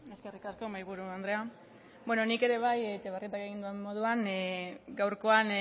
eskerrik asko mahaiburu andrea beno nik ere bai etxebarrietak egin duen moduan gaurkoan